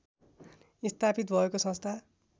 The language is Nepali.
स्थापित भएको संस्था